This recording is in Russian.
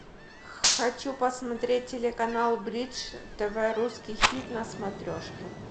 хочу посмотреть телеканал бридж тв русский хит на смотрешке